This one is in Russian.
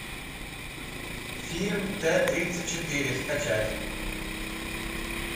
фильм т тридцать четыре скачать